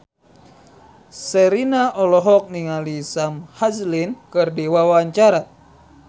Sherina olohok ningali Sam Hazeldine keur diwawancara